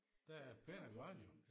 Den er pæn og grøn jo